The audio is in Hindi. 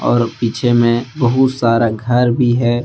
और पीछे में बहुत सारा घर भी है।